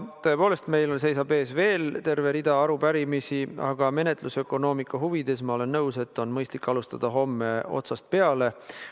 Tõepoolest, meil seisab ees veel terve rida arupärimisi, aga menetlusökonoomika huvides ma olen nõus, et on mõistlik alustada homme algusest peale.